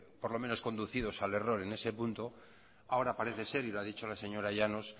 por lo menos conducidos al error en ese punto ahora parece ser y lo ha dicho la señora llanos